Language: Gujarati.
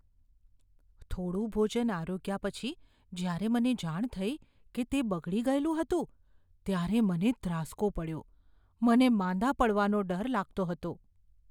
થોડું ભોજન આરોગ્યા પછી જ્યારે મને જાણ થઈ કે તે બગડી ગયેલું હતું, ત્યારે મને ધ્રાસ્કો પડ્યો. મને માંદા પડવાનો ડર લાગતો હતો.